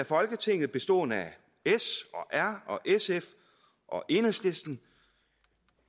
folketinget bestående af s og r og sf og enhedslisten